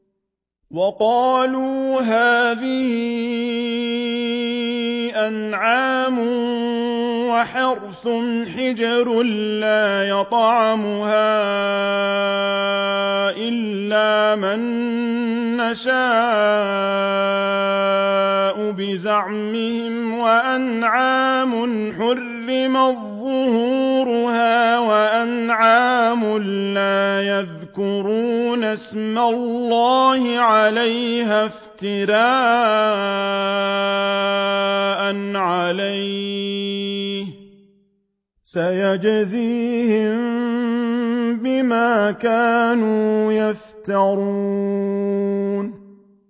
وَقَالُوا هَٰذِهِ أَنْعَامٌ وَحَرْثٌ حِجْرٌ لَّا يَطْعَمُهَا إِلَّا مَن نَّشَاءُ بِزَعْمِهِمْ وَأَنْعَامٌ حُرِّمَتْ ظُهُورُهَا وَأَنْعَامٌ لَّا يَذْكُرُونَ اسْمَ اللَّهِ عَلَيْهَا افْتِرَاءً عَلَيْهِ ۚ سَيَجْزِيهِم بِمَا كَانُوا يَفْتَرُونَ